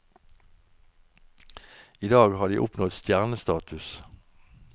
I dag har de oppnådd stjernestatus.